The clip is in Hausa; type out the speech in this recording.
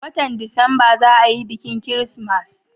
watan disamba za a yi bikin kirismas